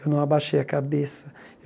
Eu não abaixei a cabeça.